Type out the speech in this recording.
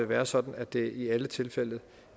være sådan at det i alle tilfælde